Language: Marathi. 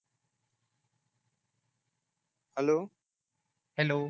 hello hello